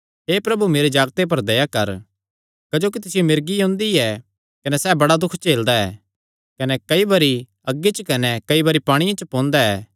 हे प्रभु मेरे जागते पर दया कर क्जोकि तिसियो मिर्गी ओंदी ऐ कने सैह़ बड़ा दुख झेलदा ऐ कने कई बरी अग्गी च कने कई बरी पांणिये च पोंदा